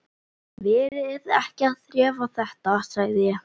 Verið ekki að þrefa þetta, sagði ég.